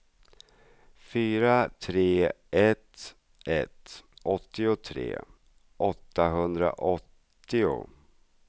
fyra tre ett ett åttiotre åttahundraåttio